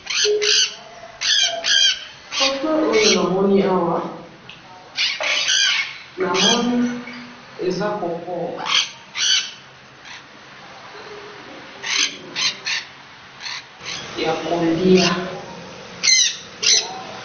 foto oyo namoni awa eza coco ya koliya